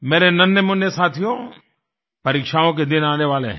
मेरे नन्हेमुन्ने साथियो परीक्षाओं के दिन आने वाले हैं